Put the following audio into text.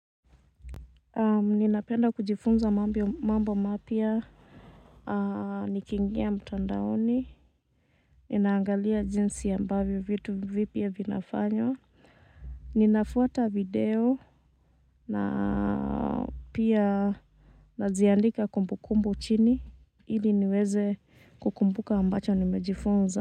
Ninapenda kujifunza mambo mapya, niki ingia mtandaoni, ninaangalia jinsi ambavyo vitu vipya vinafanywa, ninafuata video na pia naziandika kumbukumbu chini, ili niweze kukumbuka ambacho nimejifunza.